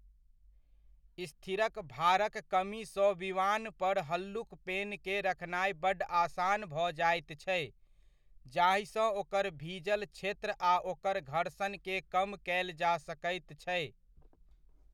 स्थिरक भारक कमी सँ विमान पर हल्लुक पेनकेँ रखनाइ बड्ड आसान भऽ जाइत छै, जाहिसँ ओकर भीजल क्षेत्र आ ओकर घर्षणकेँ कम कयल जा सकैत छै।